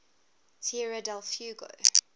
tierra del fuego